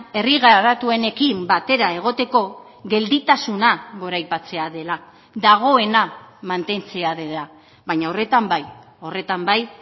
herri garatuenekin batera egoteko gelditasuna goraipatzea dela dagoena mantentzea dela baina horretan bai horretan bai